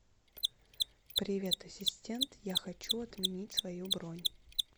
привет ассистент я хочу отменить свою бронь